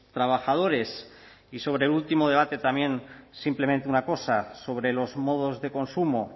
trabajadores y sobre el último debate también simplemente una cosa sobre los modos de consumo